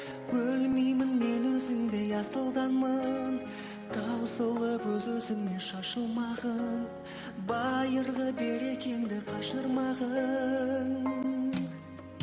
өлмеймін мен өзіңдей асылданмын таусылып өз өзіңнен шашылмағын байырғы берекеңді қашырмағын